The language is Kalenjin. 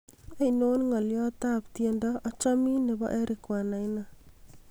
ainon n'golyot at tiendo achomin nebo eric wanaina